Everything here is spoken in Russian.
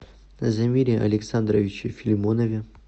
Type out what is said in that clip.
замире александровиче филимонове